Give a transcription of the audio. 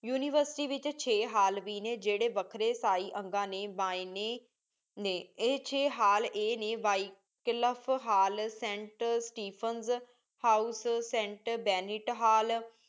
university ਵਿਚ ਸ਼ੈ hall ਵੀ ਨੀ ਜਿਹੜੇ ਵਖਰੇ ਇਸਾਈ ਅੰਗਾਂ ਨੀ ਬਣਾਏ ਨੀ ਇਹ ਚੇ ਹਾਲ ਆਯ ਨੀ hall Saint house Saint Benet ਹਾਲ